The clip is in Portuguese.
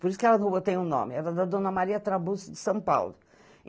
Por isso que a rua tem o nome, era da Dona Maria Trabuzzo de São Paulo.